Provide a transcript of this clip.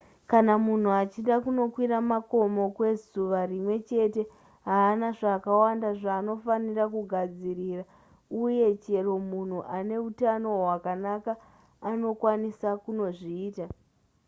kana munhu achida kunokwira makomo kwezuva rimwe chete haana zvakawanda zvaanofanira kugadzirira uye chero munhu ane utano hwakanaka anokwanisa kunozviita